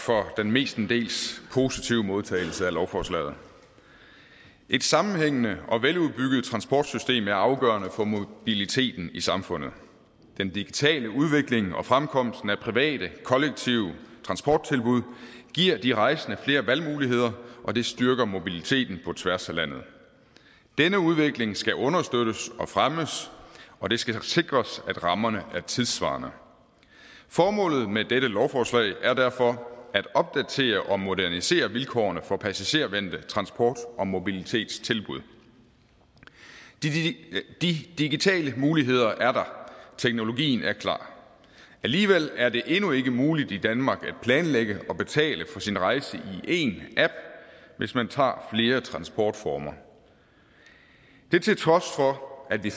for den mestendels positive modtagelse af lovforslaget et sammenhængende og veludbygget transportsystem er afgørende for mobiliteten i samfundet den digitale udvikling og fremkomsten af private kollektive transporttilbud giver de rejsende flere valgmuligheder og det styrker mobiliteten på tværs af landet denne udvikling skal understøttes og fremmes og det skal sikres at rammerne er tidssvarende formålet med dette lovforslag er derfor at opdatere og modernisere vilkårene for passagervendte transport og mobilitetstilbud de digitale muligheder er der teknologien er klar alligevel er det endnu ikke muligt i danmark at planlægge og betale for sin rejse i én app hvis man tager flere transportformer det til trods for at vi